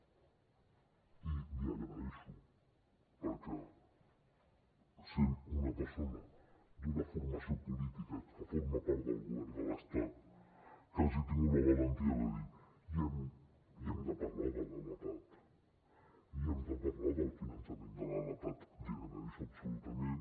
i l’hi agraeixo perquè sent una persona d’una formació política que forma part del govern de l’estat que hagi tingut la valentia de dir i hem de parlar de lapad i hem de parlar del finançament de la lapad l’hi agraeixo absolutament